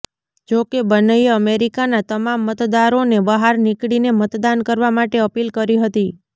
જો કે બન્નેએ અમેરિકાના તમામ મતદારોને બહાર નિકળીને મતદાન કરવા માટે અપીલ કરી હતી